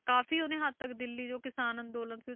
ਕਾਫ਼ੀ ਉਹਨੇ ਹੱਦ ਤੱਕ ਦਿੱਲੀ ਜੋ ਕਿਸਾਨ ਅੰਦੋਲਨ ਸੀ,